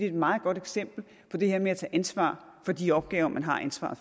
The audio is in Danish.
et meget godt eksempel på det her med at tage ansvar for de opgaver man har ansvaret